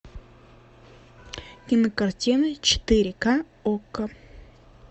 кинокартина четыре к окко